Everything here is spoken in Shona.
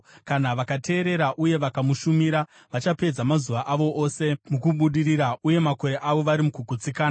Kana vakateerera uye vakamushumira, vachapedza mazuva avo ose mukubudirira uye makore avo vari mukugutsikana.